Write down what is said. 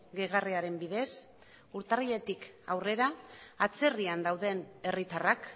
gehigarriaren bidez urtarriletik aurrera atzerrian dauden herritarrak